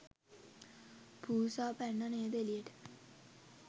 පූසා පැන්නා නේද එළියටම.